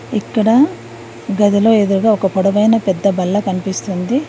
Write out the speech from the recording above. ఇక్కడ గదిలో ఎదురుగా ఒక పొడవైన పెద్ద బల్ల కనిపిస్తుంది.